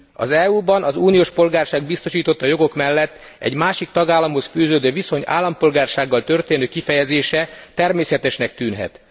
Az EU ban az uniós polgárság biztosította jogok mellett egy másik tagállamhoz fűződő viszony állampolgársággal történő kifejezése természetesnek tűnhet.